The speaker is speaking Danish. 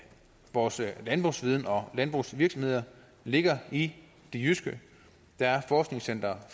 vores landbrugsviden og landbrugsvirksomheder ligger i det jyske der er forskningscenter